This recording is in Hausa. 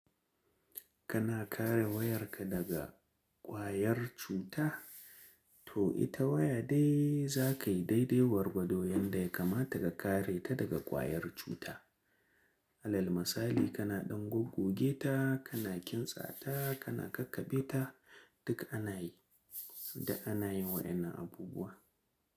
Kana kare wayarka daga kwayar cuta? To ita waya dai za kai daidai gwargwado yanda ya kamata ka kare ta daga kwayar cuta. Alal misali kana ɗan gogoge ta, kana kintsa ta, kana kakabe ta, duk ana yi da ana yin wayannan abubuwa.